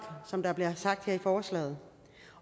som der bliver sagt her i forslaget